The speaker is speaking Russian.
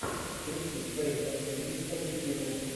включи фэйза эйпекса в ютьюбе